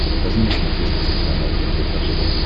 покажи на смотрешке телеканал рбк тв